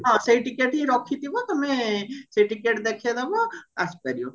ହଁ ସେଇ ଟିକେଟହିଁ ରଖିଥିବା ତମେ ସେଇ ଟିକେଟ ଦେଖେଇଦବ ଆସିପାରିବ